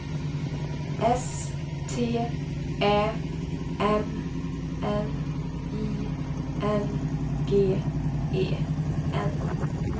S T Ä M N I N G E N